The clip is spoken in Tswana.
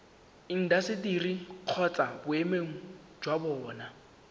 intaseteri kgotsa boemedi jwa bona